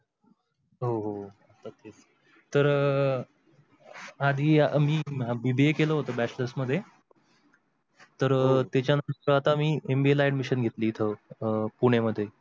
हो हो अह आणि मी BBA केल होत bachelors मध्ये, तर त्याच्या नंतर आता मी MBA ला ADMISSION घेतली इथ अह पुण्या मध्ये.